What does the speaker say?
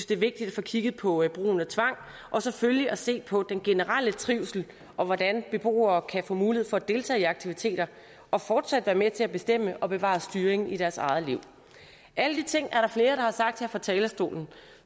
det er vigtigt at få kigget på brugen af tvang og selvfølgelig at få set på den generelle trivsel og hvordan beboere kan få mulighed for at deltage i aktiviteter og fortsat være med til at bestemme og bevare styring i deres eget liv alle de ting er der der har sagt her fra talerstolen